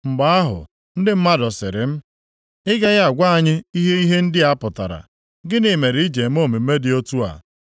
Mgbe ahụ, ndị mmadụ sịrị m, “Ị gaghị agwa anyị ihe ihe ndị a pụtara? Gịnị mere iji eme omume dị otu a?”